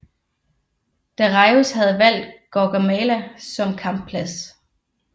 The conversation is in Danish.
Dareius havde valgt Gaugamela som kampplads